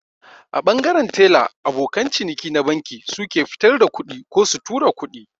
A ɓangaren tela abokan ciniki na banki suke fitar da kuɗi ko su tura kuɗi